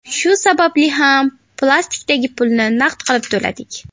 Shu sababli ham plastikdagi pulni naqd qilib to‘ladik.